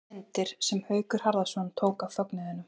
Hér má sjá myndir sem Haukur Harðarson tók af fögnuðinum.